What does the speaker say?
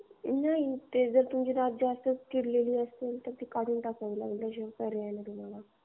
नाही, ते जर तुमचे दात जास्त कुजलेला असेल. तर ते काढून टाकावे लागतील तुम्हाला.